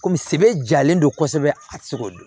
Kɔmi sɛbɛ jalen don kosɛbɛ a ti se k'o dɔn